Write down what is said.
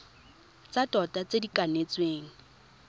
tsa tota tse di kanetsweng